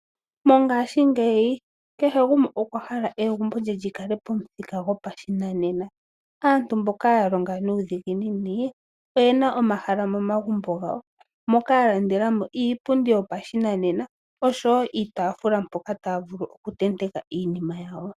Mongaashingeyi kehe gumwe okwa hala egumbo lye lyi kale lyopomuthika gwopashinanena. Aantu mboka ya longa nuudhiginini oye na omahala momagumbo gawo moka ya landela mo iipundi yopashinanena oshowo iitaafula mpoka taya vulu oku tenteka iinima yawo.